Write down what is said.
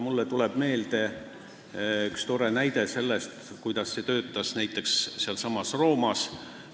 Mulle tuleb meelde üks tore näide, kuidas see kõik töötas näiteks sealsamas Roomas.